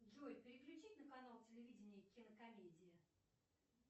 джой переключить на канал телевидения кинокомедия